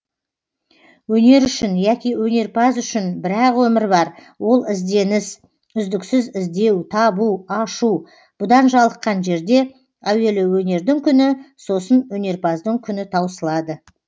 өнер үшін яки өнерпаз үшін бір ақ өмір бар ол ізденіс үздіксіз іздеу табу ашу бұдан жалыққан жерде әуелі өнердің күні сосын өнерпаздың күні таусылады